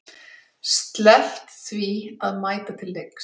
Sleppt því að mæta til leiks?